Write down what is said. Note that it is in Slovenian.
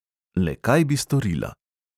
Le kaj bi storila?